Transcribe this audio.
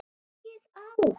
Slakið á.